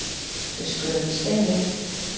Fiskur undir steini.